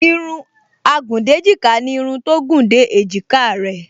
Irun agùndéjìká ni irun tó gùn dé èjìká rẹ